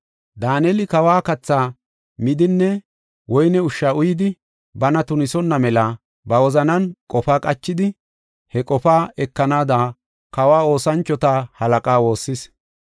Daaneli kawa kathaa midinne woyne ushsha uyidi, bana tunisonna mela ba wozanan qofa qachidi, he qofaa ekanaada, kawa oosanchota halaqaa woossis.